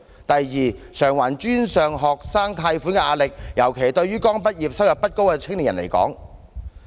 第二，償還專上學生貸款的壓力，尤其是對於剛畢業、收入不高的青年。